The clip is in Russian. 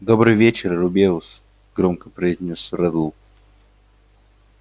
добрый вечер рубеус громко произнёс реддл